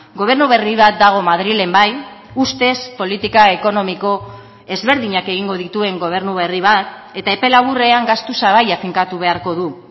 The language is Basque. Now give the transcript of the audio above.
gobernu berri bat dago madrilen bai ustez politika ekonomiko ezberdinak egingo dituen gobernu berri bat eta epe laburrean gastu sabaia finkatu beharko du